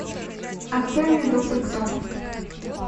открой мне доктор кто